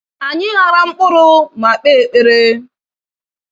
Anyị ghara mkpụrụ ma kpe ekpere.